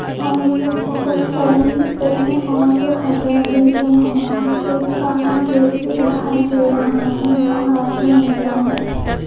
और सब बहुत सारी पेड़े और हरियाली भी है और एक काला गेट भी दिखाई दे रहा है और आसमान नीला है।